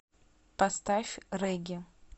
поставь регги